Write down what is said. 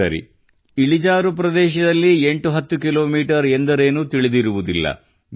ಸರಿ ಇಳಿಜಾರು ಪ್ರದೇಶದಲ್ಲಿ 810 ಕಿ ಮೀ ಎಂದರೇನು ತಿಳಿದಿರುವುದಿಲ್ಲ